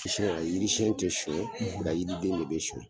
Siyɛn a yirisɛn tɛ sucɛ nka yiriden ne be suɲɛ.